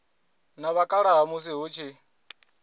na vhakalaha musi hu tshi